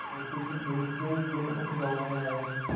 मुँशी जी दूसरे ही दिन उस गॉँव में आये